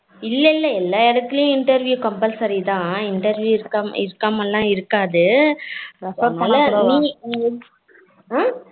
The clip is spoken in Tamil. இல்ல இல்ல எல்லாம் எடுத்துலயும் interview compulsory தான் interview இருக்காமலாம் இருக்காது ஆஹ்